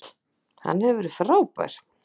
Hann hefur verið frábær.